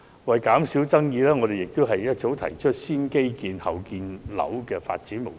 為減少爭議，自由黨早已提出"先基建、後建屋"的發展模式。